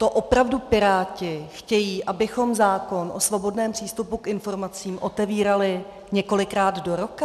To opravdu Piráti chtějí, abychom zákon o svobodném přístupu k informacím otevírali několikrát do roka?